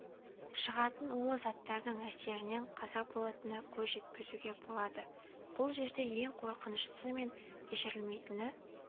шығатын улы заттардың әсерінен қаза болатынына көз жеткізуге болады бұл жерде ең қорқыныштысы мен кешірілмейтіні